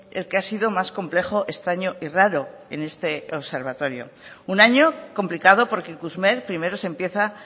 el que ha sido más complejo extraño y raro en este observatorio un año complicado porque ikusmer primero se empieza